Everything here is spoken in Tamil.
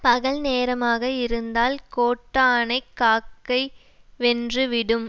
பகல் நேரமாக இருந்தால் கோட்டானை காக்கைவென்று விடும்